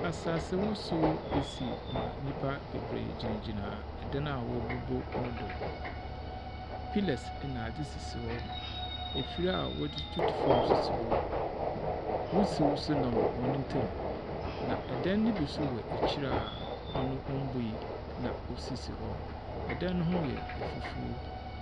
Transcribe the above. Asasewosow esi ma nyimpa beberee gyinagyina dan a woebubuno do. Pillers na adze sisi hɔ. Efir a wɔdze tutu fam nso si hɔ. Wisiw nso nam hɔn ntam, na dan no bi nso wɔ ekyir a ɔno mbui na osisi hɔ. Dan no ho yɛ fufuw.